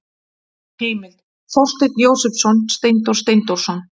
Heimild: Þorsteinn Jósepsson, Steindór Steindórsson.